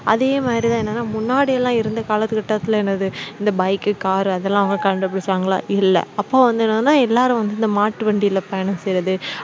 அதே மாதிரி தான் என்னன்னா முன்னாடி எல்லாம் இருந்த கால கட்டத்துல என்னது இந்த bike, car அதெல்லாம் அவங்க கண்டுபிடிச்சாங்களா இல்ல அப்போ வந்து என்னன்னா எல்லாரும் வந்து இந்த மாட்டு வண்டியில பயணம் செய்யறது